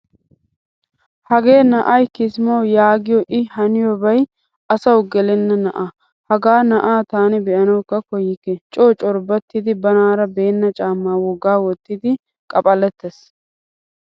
Hagee na'ay kisimawu yaagiyo i haniyobay asawu gelena na'aa. Hagaa na'aa taani beanawukka koyikke. Co corbobattidi banaara beenna caama woggaa wottidi qaphphalattees.